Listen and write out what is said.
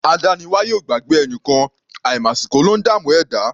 Adániwáyè ò gbàgbé ẹnìkan; àìmàsìkò ló ńdààmú ẹ̀dá.